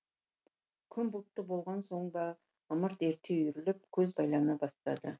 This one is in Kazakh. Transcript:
күн бұлтты болған соң ба ымырт ерте үйіріліп көз байлана бастады